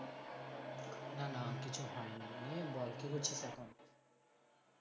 না না কিছু হয়নি বল কি করছিস এখন